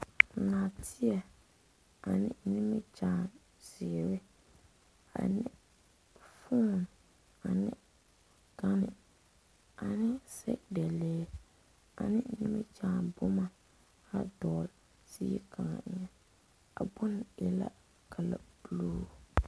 Naateɛ ane nimikyaane ziiri ane fone ane gane ane sɛgedalee ane nimikyaane boma dɔgle zie kaŋa eŋa a bonne e la kalɛdoɔre.